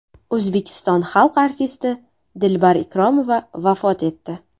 O‘zbekiston xalq artisti Dilbar Ikromova vafot etdi.